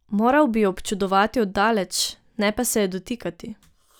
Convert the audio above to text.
Moral bi jo občudovati od daleč, ne pa se je dotikati.